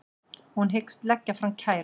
Hún hyggst leggja fram kæru